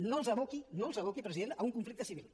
no els aboqui no els aboqui president a un conflicte civil